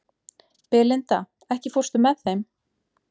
Belinda, ekki fórstu með þeim?